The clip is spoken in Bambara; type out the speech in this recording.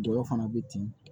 Dɔ fana bɛ ten